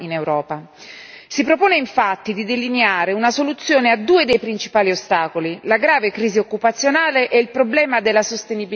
Si propone, infatti, di delineare una soluzione a due dei principali ostacoli la grave crisi occupazionale e il problema della sostenibilità ambientale.